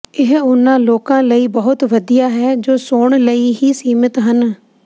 ਇਹ ਉਨ੍ਹਾਂ ਲੋਕਾਂ ਲਈ ਬਹੁਤ ਵਧੀਆ ਹੈ ਜੋ ਸੌਣ ਲਈ ਹੀ ਸੀਮਿਤ ਹਨ